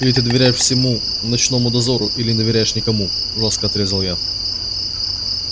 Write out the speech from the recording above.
или ты доверяешь всему ночному дозору или не доверяешь никому жёстко отрезал я